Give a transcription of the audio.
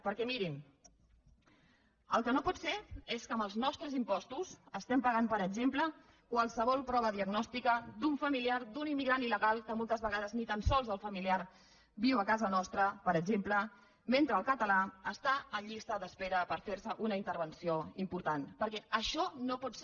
perquè mirin el que no pot ser és que amb els nostres impostos estiguem pagant per exemple qualsevol prova diagnòstica d’un familiar d’un immigrant illegal que moltes vegades ni tan sols el familiar viu a casa nostra per exemple mentre el català està en llista d’espera per fer se una intervenció important perquè això no pot ser